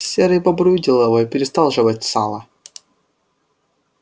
серый бобр увидел его и перестал жевать сало